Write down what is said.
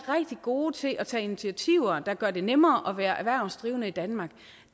gode til at tage initiativer der gør det nemmere at være erhvervsdrivende i danmark